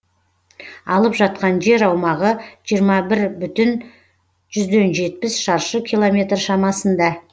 алып жатқан жер аумағы жиырма бір бүтін жүзден жетпіс шаршы километр шамасында